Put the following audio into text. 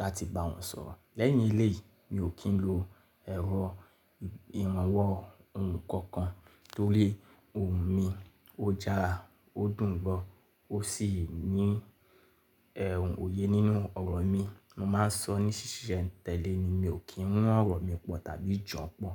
láti bá wọn sọ̀rọ̀. Lẹ́yìn ilé yìí, mi ò kí ń lo ẹ̀rọ ìrànwọ́ ohùn kankan torí ohùn mi ó já, ó dùn gbọ́, ó sì ní ẹ́h, òye nínú ọ̀rọ̀ mi. Mo máa ń sọ ní ṣíṣe tẹ́lẹ̀ ni, mi ò kí ń mú ọ̀rọ̀ mi pọ̀ tàbí jọ̀ọ́ pọ̀